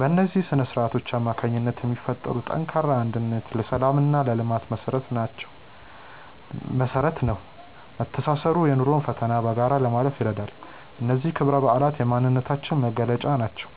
በእነዚህ ስነ-ስርዓቶች አማካኝነት የሚፈጠረው ጠንካራ አንድነት ለሰላምና ለልማት መሰረት ነው። መተሳሰሩ የኑሮን ፈተና በጋራ ለማለፍ ይረዳል። እነዚህ ክብረ በዓላት የማንነታችን መገለጫዎች ናቸው።